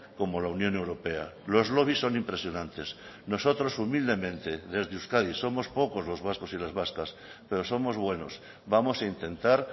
como la unión europea los lobbies son impresionantes nosotros humildemente desde euskadi somos pocos los vascos y las vascas pero somos buenos vamos a intentar